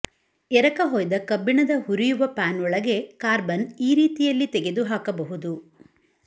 ಎರಕಹೊಯ್ದ ಕಬ್ಬಿಣದ ಹುರಿಯುವ ಪ್ಯಾನ್ ಒಳಗೆ ಕಾರ್ಬನ್ ಈ ರೀತಿಯಲ್ಲಿ ತೆಗೆದುಹಾಕಬಹುದು